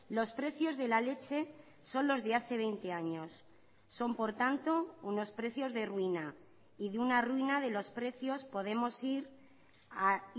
los precios de la leche son los de hace veinte años son por tanto unos precios de ruina y de una ruina de los precios podemos ir a